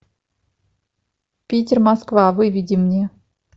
питер москва выведи мне